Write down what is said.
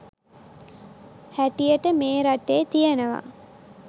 හැටියට මේ රටේ තියෙනවා.